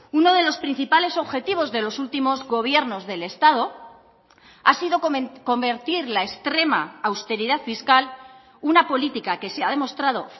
uno de los principales objetivos de los últimos gobiernos del estado ha sido convertir la extrema austeridad fiscal una política que se ha demostrado